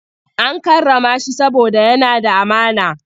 An karrama shi saboda yana da amana.